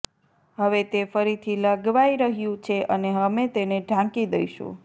હવે તે ફરીથી લગાવાઈ રહ્યું છે અને અમે તેને ઢાંકી દઈશું